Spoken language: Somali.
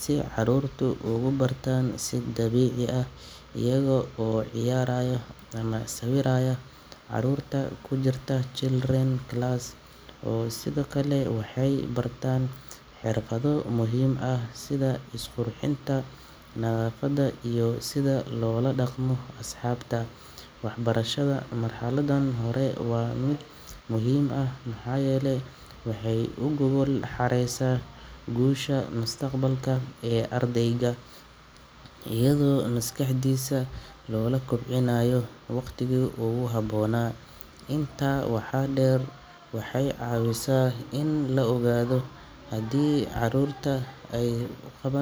si carruurtu ugu bartaan si dabiici ah iyaga oo ciyaaraya ama sawiraya. Carruurta ku jirta children class sidoo kale waxay bartaan xirfado muhiim ah sida isqurxinta, nadaafadda iyo sida loola dhaqmo asxaabta. Waxbarashada marxaladdan hore waa mid muhiim ah maxaa yeelay waxay u gogol xaaraysaa guusha mustaqbalka ee ardayga iyadoo maskaxdiisa la kobcinayo waqtigii ugu habboonaa. Intaa waxaa dheer, waxay caawisaa in la ogaado haddii caruurta ay qabaan.